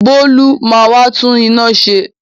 Bolu ma wá tún inú ṣe.